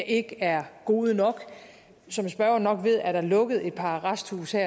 ikke er gode nok som spørgeren nok ved er der lukket et par arresthuse